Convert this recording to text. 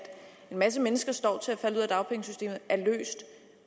en masse mennesker står til at falde ud af dagpengesystemet er løst